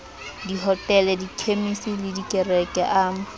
dihotele dikhemisi le dikereke a